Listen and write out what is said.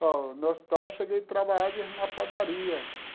Bom, no hospital eu cheguei a trabalhar de na padaria.